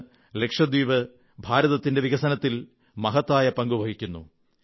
ഇന്ന് ലക്ഷദ്വീപ് ഭാരതത്തിന്റെ വികസനത്തിൽ മഹത്തായ പങ്കു വഹിക്കുന്നു